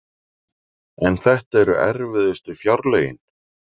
En þetta eru erfiðustu fjárlögin